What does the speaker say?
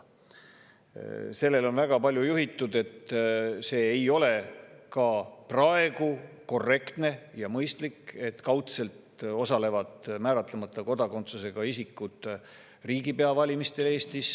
On väga palju juhitud, et see ei ole ka praegu korrektne ja mõistlik, et kaudselt osalevad määratlemata kodakondsusega isikud Eestis riigipea valimistel.